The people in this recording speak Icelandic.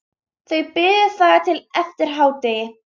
Þau biðu þar til eftir hádegi.